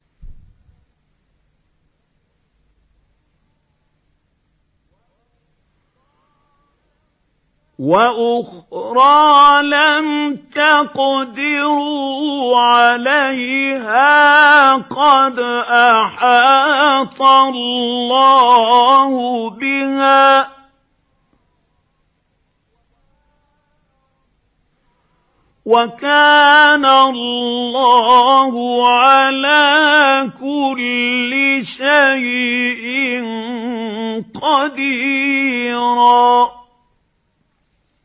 وَأُخْرَىٰ لَمْ تَقْدِرُوا عَلَيْهَا قَدْ أَحَاطَ اللَّهُ بِهَا ۚ وَكَانَ اللَّهُ عَلَىٰ كُلِّ شَيْءٍ قَدِيرًا